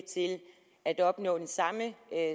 at opnå den samme